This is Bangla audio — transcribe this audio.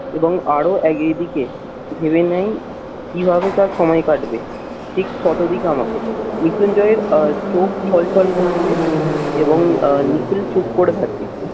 এবং আরো এক এদিকে ভেবে নেন কিভাবে তার সময় কাটবে। ঠিক কত দিক আমাকে মৃত্যুঞ্জয় এর চোখ ছল ছল করছে এবং আহ নিখিল চুপ করে থাকে।